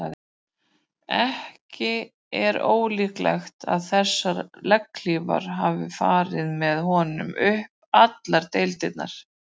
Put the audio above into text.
Ekki er ólíklegt að þessar legghlífar hafi farið með honum upp allar deildirnar.